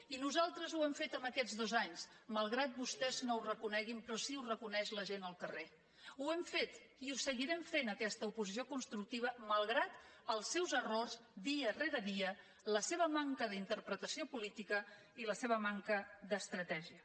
i nosaltres ho hem fet en aquests dos anys malgrat que vostès no ho reconeguin però sí que ho reconeix la gent al carrer ho hem fet i ho seguirem fent aquesta oposició constructiva malgrat els seus errors dia rere dia la seva manca d’interpretació política i la seva manca d’estratègia